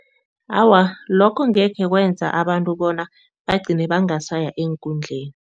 Awa, lokho ngekhe kwenza abantu bona bagcine bangasaya eenkundleni.